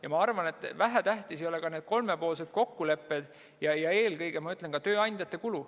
Ja ma arvan, et vähetähtsad ei ole ka need kolmepoolsed kokkulepped ja eelkõige tööandjate kulu.